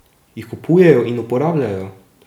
Jih kupujejo in uporabljajo?